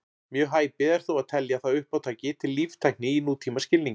Mjög hæpið er þó að telja það uppátæki til líftækni í nútímaskilningi.